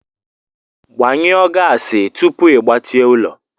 Gbanyụọ gaasị tupu ị gbachie ụlọ!